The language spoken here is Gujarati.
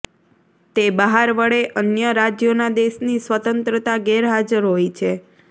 તે બહાર વળે અન્ય રાજ્યોના દેશની સ્વતંત્રતા ગેરહાજર હોય છે